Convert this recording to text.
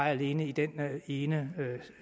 alene i den ene